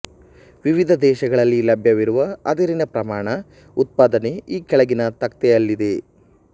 ವಿವಿಧ ದೇಶಗಳಲ್ಲಿ ಲಭ್ಯವಿರುವ ಅದಿರಿನ ಪ್ರಮಾಣ ಉತ್ಪಾದನೆ ಈ ಕೆಳಗಿನ ತಖ್ತೆಯಲ್ಲಿದೆ